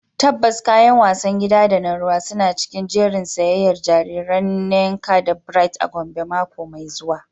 Tabbas, kayan wasan gida da na ruwa suna cikin jerin siyayyar jariran Nneka da Bright a Gombe mako mai zuwa.